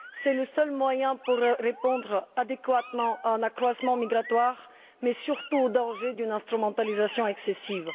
C'est le seul moyen de répondre adéquatement à un accroissement migratoire, mais surtout au danger d'une instrumentalisation excessive.